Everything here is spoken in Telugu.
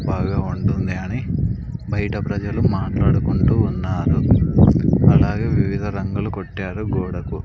బాగా వండుంది అని బయట ప్రజలు మాట్లాడుకుంటూ ఉన్నారు అలాగే వివిధ రంగులు కొట్టారు గోడకు.